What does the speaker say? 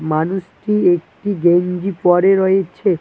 মানুষটি একটি গেঞ্জি পরে রয়েছে।